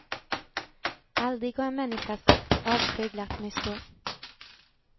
Aldrig har en människas avsky glatt mig så.